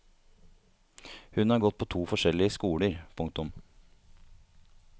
Hun har gått på to forskjellige skoler. punktum